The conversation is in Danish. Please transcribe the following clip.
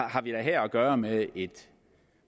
har vi da her at gøre med et